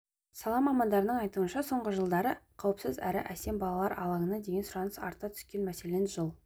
сала мамандарының айтуынша соңғы жылдары қауіпсіз әрі әсем балалар алаңына деген сұраныс арта түскен мәселен жыл